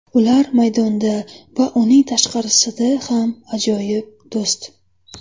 Ular maydonda va uning tashqarisida ham ajoyib do‘st.